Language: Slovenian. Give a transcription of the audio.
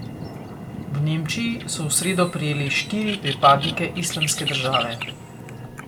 V Nemčiji so v sredo prijeli štiri pripadnike islamske države.